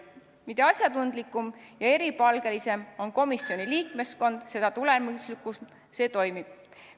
Mida asjatundlikum ja eripalgelisem on komisjoni liikmeskond, seda tulemuslikumalt see toimib.